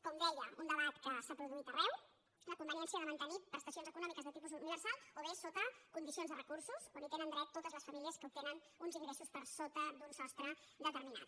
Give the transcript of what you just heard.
com de·ia un debat que s’ha produït arreu la conveniència de mantenir prestacions econòmiques de tipus universal o bé sota condicions de recursos on hi tenen dret totes les famílies que tenen uns ingressos per sota d’un sostre de·terminat